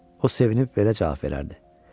O sevinib belə cavab verərdi: